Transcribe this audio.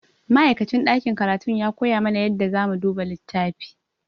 Ma'aikacin ɗakin karatun ya koya mana yadda zamu duba littafi.